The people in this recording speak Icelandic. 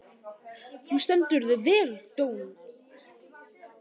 Þú stendur þig vel, Dónald!